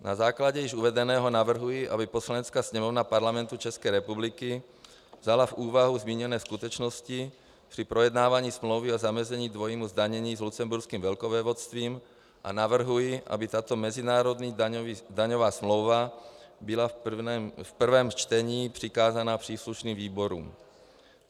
Na základě již uvedeného navrhuji, aby Poslanecká sněmovna Parlamentu České republiky vzala v úvahu zmíněné skutečnosti při projednávání smlouvy o zamezení dvojímu zdanění s Lucemburským velkovévodstvím, a navrhuji, aby tato mezinárodní daňová smlouva byla v prvém čtení přikázána příslušným výborům.